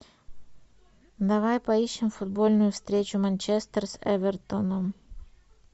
давай поищем футбольную встречу манчестер с эвертоном